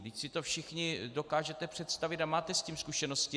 Vždyť si to všichni dokážete představit a máte s tím zkušenosti.